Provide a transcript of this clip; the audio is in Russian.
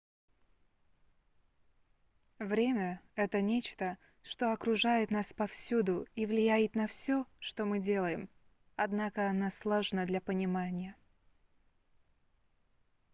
время это нечто что окружает нас повсюду и влияет на все что мы делаем однако оно сложно для понимания